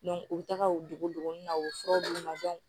u bɛ taga u dogo duguni na u bɛ fura d'u ma